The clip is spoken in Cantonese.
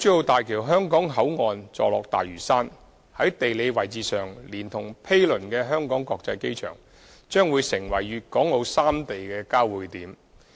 大橋香港口岸座落大嶼山，在地理位置上，連同毗鄰的香港國際機場，將會成為粵港澳三地的交匯點。